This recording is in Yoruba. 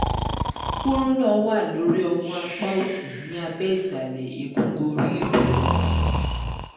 kúrúnà wà lórí ọmú apá òsì ní abẹ́ ìsàlẹ̀ egungun ríìbù